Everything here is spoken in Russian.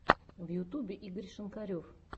в ютубе игорь шинкарев